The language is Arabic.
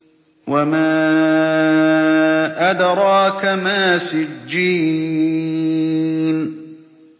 وَمَا أَدْرَاكَ مَا سِجِّينٌ